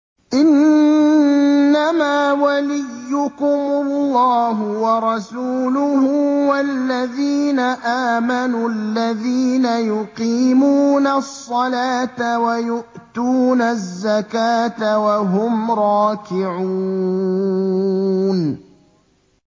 إِنَّمَا وَلِيُّكُمُ اللَّهُ وَرَسُولُهُ وَالَّذِينَ آمَنُوا الَّذِينَ يُقِيمُونَ الصَّلَاةَ وَيُؤْتُونَ الزَّكَاةَ وَهُمْ رَاكِعُونَ